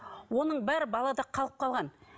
оның бәрі балада қалып қалған